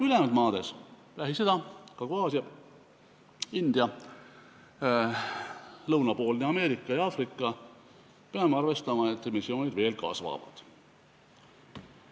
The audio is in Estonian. Ülejäänud maades – Lähis-Ida, Kagu-Aasia, India, lõunapoolne Ameerika ja Aafrika – emissioonid veel kasvavad.